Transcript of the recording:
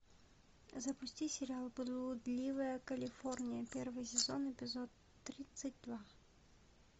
запусти сериал блудливая калифорния первый сезон эпизод тридцать два